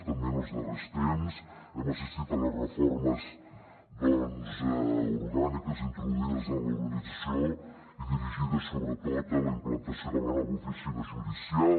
també en els darrers temps hem assistit a les reformes doncs orgàniques introduïdes en l’organització i dirigides sobretot a la implantació de la nova oficina judicial